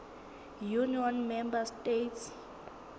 union member states